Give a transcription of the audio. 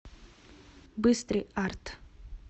быстрый арт